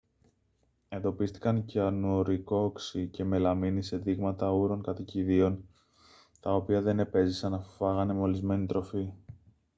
εντοπίστηκαν κυανουρικό οξύ και μελαμίνη σε δείγματα ούρων κατοικιδίων τα οποία δεν επέζησαν αφού φάγανε μολυσμένη τροφή